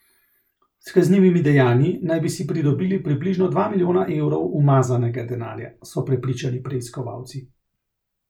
S kaznivimi dejanji naj bi si pridobili približno dva milijona evrov umazanega denarja, so prepričani preiskovalci.